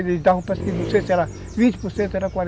Eles davam, não sei se era vinte por centro ou era quarenta